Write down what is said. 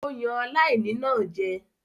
Ó yan aláìní náà jẹ.